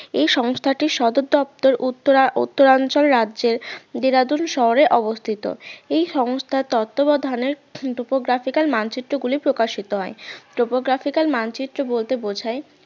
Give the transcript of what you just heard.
এই সংস্থাটির সদর দপ্তর উত্তরা~ উত্তরাঞ্চল রাজ্যের দেরাদুন শহরে অবস্থিত এই সংস্থার তত্ত্বাবধানের topographical মানচিত্র গুলি প্রকাশিত হয় topographical মানচিত্র বলতে বোঝায়